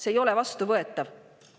See ei ole vastuvõetav!